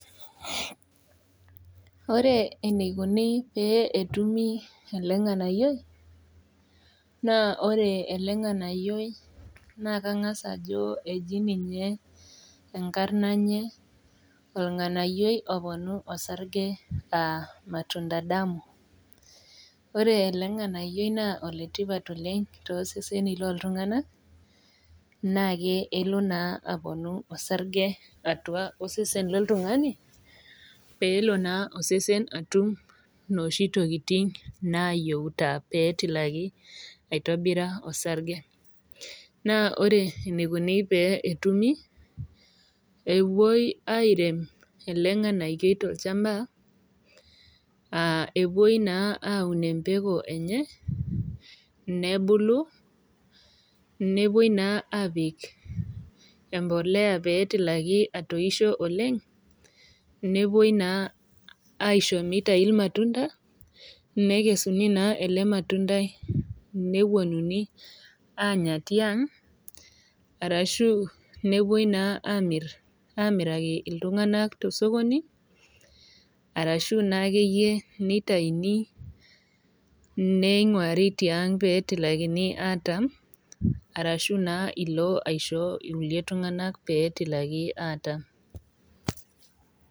Ore eneikoni pee etumi elenganayioi naa kangas ajo eji ninye enkarna enye ornganayioi oponu osarge aa matunda damu . Ore elenganayioi naa oletipat oleng toseseni loltunganak nake elo naa aponu osarge tiatua osesen loltungani pelo naa osesen atum inoshi tokitin nayieu petilaki aitoira oarge. Naa ore eneikoni petumi naa epuoi airem rlenganayioi tolchamba aa epuoi naa aun empeku enye, nebulu, nepuoi naa apik empolea petilaki atoisho oleng , nepuoi naa aisho mitai irmatunda , nekesuni naa ele matundai neponuni anya tiang arashu nepuoi naa amiraki iltunganak tosokoni arashu naa akeyie nitauni ningwari tiang petilakin atam arashu naa ilo aisho irkulie tunganak .